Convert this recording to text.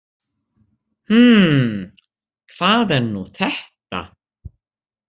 Hmmm, hvað er nú þetta?